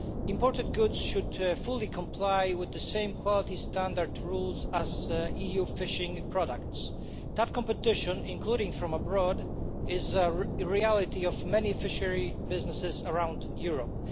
Imported goods should fully comply with the same quality standard rules as EU fishing products. Tough competition, including from abroad, is a reality of many fishery businesses around Europe.